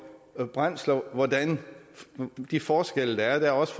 brændsler hvordan de forskelle er der er også